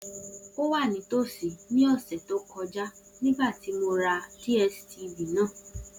O wa nitosi ni ọsẹ to kọja nigbati mo ra DSTv naa.